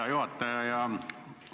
Hea juhataja!